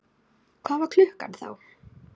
Hvað var klukkan þá?